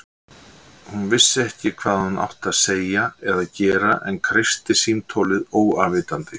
Hún vissi ekki hvað hún átti að segja eða gera en kreisti símtólið óafvitandi.